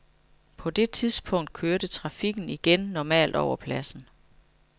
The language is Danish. På det tidspunkt kørte trafikken igen normalt over pladsen.